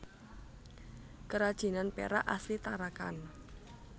Kerajinan perak asli Tarakan